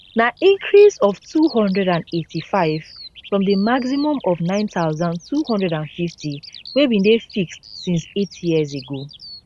na increase of 285 from di maximum of 9250 wey bin dey fixed since eight years ago